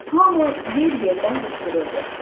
Hamı yer-yerdən qışqırırdı: